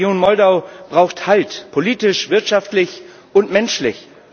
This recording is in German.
Die Region Moldau braucht Halt politisch, wirtschaftlich und menschlich.